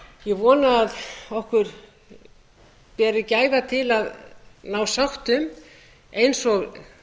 ég vona að við berum gæfu til að ná sátt um eins og